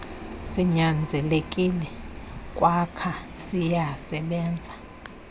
sinyanzelekile kwayw siyasebenza